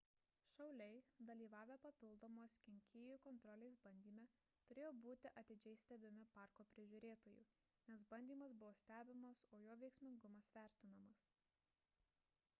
šauliai dalyvavę papildomos kenkėjų kontrolės bandyme turėjo būti atidžiai stebimi parko prižiūrėtojų nes bandymas buvo stebimas o jo veiksmingumas vertinamas